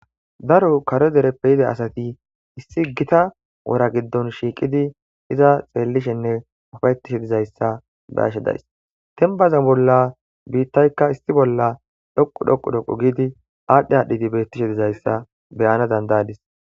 daro karo dereppe yida asati issi gita wora giddon shiiqidi iza xeellishenne ufayetishe dizayssa beashedays tenbaza bolla biittaykka issi bolla dhoqu dhoqu dhoqu giidi aadhdhe aadhdhidi bettishe dizayssa beyana dandayadis